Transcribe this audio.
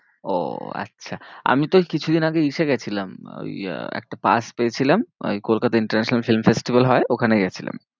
ও আচ্ছা আমি তো এই কিছুদিন আগে গেছিলাম ওই আহ একটা pass পেয়েছিলাম ওই কলকাতায় International festival হয় ওখানে গেছিলাম।